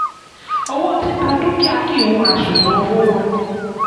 owó títa dúkìá kìí wọ àṣùwọ̀n owó wọlé.